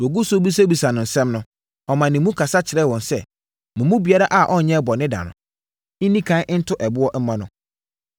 Wɔgu so rebisabisa no nsɛm no, ɔmaa ne mu so ka kyerɛɛ wɔn sɛ, “Mo mu biara a ɔnyɛɛ bɔne da no, nni ɛkan nto boɔ mmɔ no.”